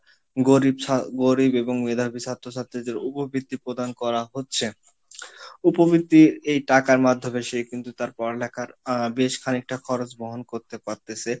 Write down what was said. গরিব ছা গরিব এবং মেধাবী ছাত্র ছাত্রীদের উপবৃত্তি প্রদান করা হচ্ছে উপবৃত্তি এই টাকার মাধ্যমে সে কিন্তু তার পড়ালেখার আহ বেশ খানিকটা খরচ বহন করতে পারতেছে